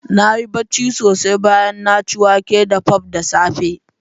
Na yi barci sosai bayan na ci wake da pap da safe